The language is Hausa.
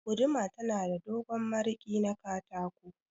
Guduma tana da dogon mirƙi na katako.